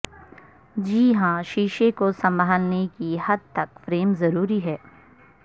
جی ہاں شیشے کو سنبھالنے کی حدتک فریم ضروری ہے